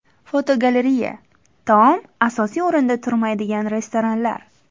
Fotogalereya: Taom asosiy o‘rinda turmaydigan restoranlar.